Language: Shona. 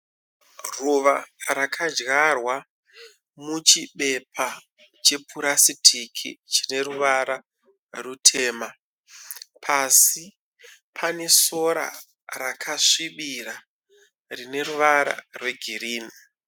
Ruva rakadyarwa muchibepa chepurasitiki chineruvara rutema pasi panesora rakasvibira rine ruvara rwegirini.